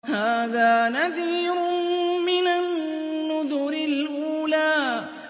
هَٰذَا نَذِيرٌ مِّنَ النُّذُرِ الْأُولَىٰ